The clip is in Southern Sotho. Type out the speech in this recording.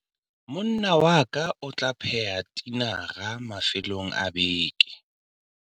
Monna wa ka o tla pheha tinara mafelong a beke.